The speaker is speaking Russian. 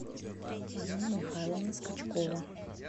марина михайловна скачкова